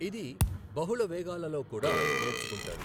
ఇది బహుళ వేగాలలో కూడా నేర్చుకుంటారు.